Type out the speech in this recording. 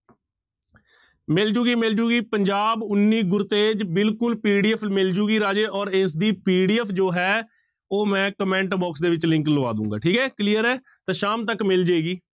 ਮਿਲ ਜਾਊਗੀ ਮਿਲ ਜਾਊਗੀ ਪੰਜਾਬ ਉੱਨੀ ਗੁਰਤੇਜ਼ ਬਿਲਕੁਲ PDF ਮਿਲ ਜਾਊਗੀ ਰਾਜੇ ਔਰ ਇਸਦੀ PDF ਜੋ ਹੈ ਉਹ ਮੈਂ comment box ਦੇ ਵਿੱਚ link ਲਵਾ ਦਊਂਗਾ ਠੀਕ ਹੈ clear ਹੈ, ਤਾਂ ਸ਼ਾਮ ਤੱਕ ਮਿਲ ਜਾਏਗੀ।